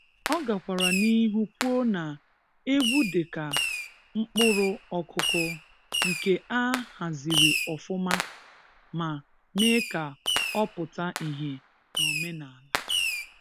Ọ gakwara n'ihu kwuo na egwu dị ka mkpụrụ ọkụkụ nke a haziri ọfụma ma mee ka ọ pụta ihe n’omenala.